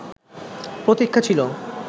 প্রতীক্ষা ছিল